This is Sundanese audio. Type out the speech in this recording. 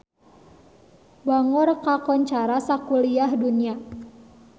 Bangor kakoncara sakuliah dunya